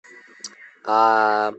а